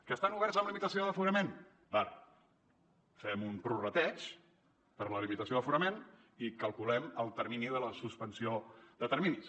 que estan oberts amb limitació de l’aforament d’acord fem un prorrateig per la limitació d’aforament i calculem el termini de la suspensió de terminis